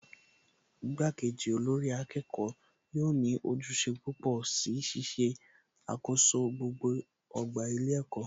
Ìgbà kejì olórí akẹ́kọ̀ọ́ yóò ní ojúṣe púpọ̀ si Ṣíṣe àkoso gbogbo ọgbà ilé ẹ̀kọ́